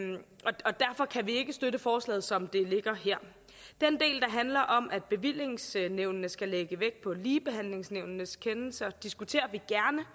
ikke støtte forslaget som det ligger her den del der handler om at bevillingsnævnene skal lægge vægt på ligebehandlingsnævnets kendelser diskuterer vi